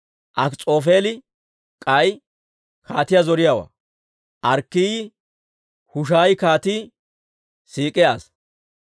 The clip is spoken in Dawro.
Akis'oofeeli k'ay kaatiyaa zoriyaawaa. Arkkiyaa Hushaayi kaatii siik'iyaa asaa.